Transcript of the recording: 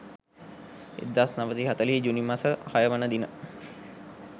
1940 ජුනි මස 06 වන දින